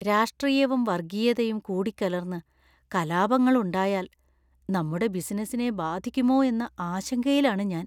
രാഷ്ട്രീയവും വർഗീയതയും കൂടിക്കലർന്ന് കലാപങ്ങളുണ്ടായാൽ നമ്മുടെ ബിസിനസിനെ ബാധിക്കുമോ എന്ന ആശങ്കയിലാണ് ഞാൻ.